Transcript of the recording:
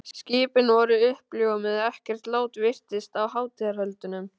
Skipin voru uppljómuð, ekkert lát virtist á hátíðarhöldunum.